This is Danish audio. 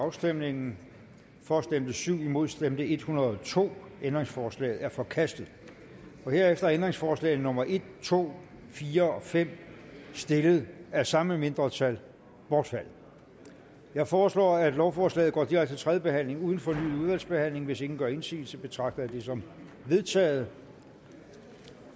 afstemningen for stemte syv imod stemte en hundrede og to ændringsforslaget er forkastet herefter er ændringsforslagene nummer en to fire og fem stillet af samme mindretal bortfaldet jeg foreslår at lovforslaget går direkte til tredje behandling uden fornyet udvalgsbehandling hvis ingen gør indsigelse betragter jeg det som vedtaget